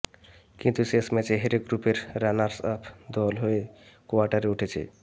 কিন্তু শেষ ম্যাচে হেরে গ্রুপের রানার্সআপ দল হয়ে কোয়ার্টারে ওঠেছে